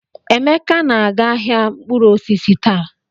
Emeka na-aga ahịa mkpụrụ osisi taa.